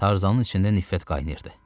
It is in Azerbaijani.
Tarzanın içində nifrət qaynayırdı.